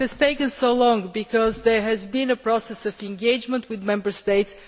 It has taken so long because there has been a process of engagement with Member States.